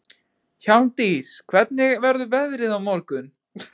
Hjálmdís, hvernig verður veðrið á morgun?